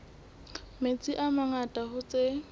metsi a mangata hoo tse